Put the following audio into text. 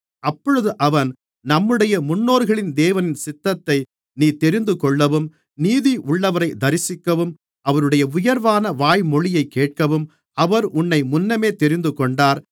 அப்பொழுது அவன் நம்முடைய முன்னோர்களின் தேவனின் சித்தத்தை நீ தெரிந்துகொள்ளவும் நீதியுள்ளவரை தரிசிக்கவும் அவருடைய உயர்வான வாய்மொழியைக் கேட்கவும் அவர் உன்னை முன்னமே தெரிந்துகொண்டார்